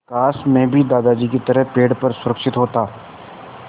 काश मैं भी दादाजी की तरह पेड़ पर सुरक्षित होता